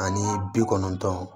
Ani bi kɔnɔntɔn